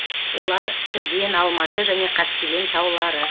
олар түрген алматы және қаскелең таулары